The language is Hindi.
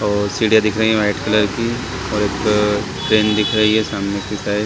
और सीढ़िया दिख रही है वाइट कलर की और एक ट्रैन दिख रही हैं सामने की साइड --